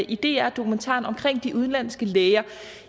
i dr dokumentaren om de udenlandske læger